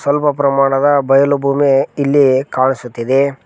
ಸ್ವಲ್ಪ ಪ್ರಮಾಣದ ಬಯಲು ಭೂಮಿ ಇಲ್ಲಿ ಕಾಣಿಸುತ್ತಿದೆ.